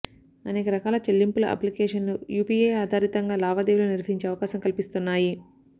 అనేక రకాల చెల్లింపుల అప్లికేషన్లు యూపీఐ ఆధారితంగా లావాదేవీలు నిర్వహించే అవకాశం కల్పిస్తున్నాయి